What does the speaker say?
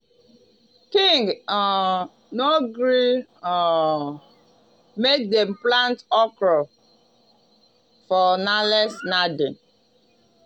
king um no gree um make dem plant okra for nalace narden